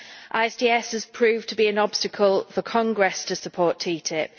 ISDS has proved to be an obstacle for Congress to support TTIP.